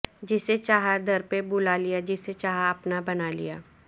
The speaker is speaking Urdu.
جسے چاہا در پہ بلا لیا جسے چاہا اپنا بنالیا